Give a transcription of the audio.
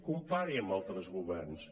compari ho amb altres governs